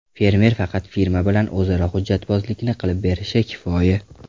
Fermer faqat firma bilan o‘zaro hujjatbozlikni qilib berishi kifoya.